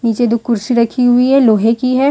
नीचे दो कुर्सी रखी हुई है लोहे की है।